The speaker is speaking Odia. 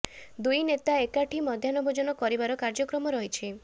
ଦୁଇ ନେତା ଏକାଠି ମଧ୍ୟାହ୍ନ ଭୋଜନ କରିବାର କାର୍ଯ୍ୟକ୍ରମ ରହିଛ